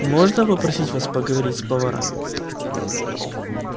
можно попросить вас пойти поговорить с поварами